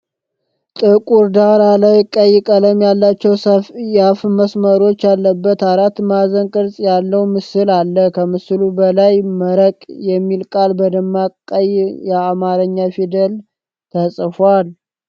ጥቁር ዳራ ላይ፣ ቀይ ቀለም ያላቸው ሰያፍ መስመሮች ያለበት አራት ማዕዘን ቅርጽ ያለው ምስል አለ። ከምስሉ በላይ "መረቅ" የሚል ቃል በደማቅ ቀይ የአማርኛ ፊደላት ተጽፏል።